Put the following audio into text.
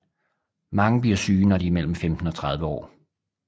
Mange bliver syge når de er mellem 15 og 30 år